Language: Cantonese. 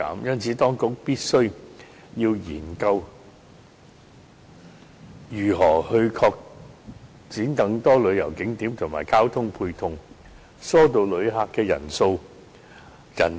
因此，當局必須研究如何開拓更多旅遊景點及交通配套設施，以疏導旅客人流。